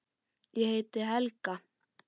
Ég heiti Helga!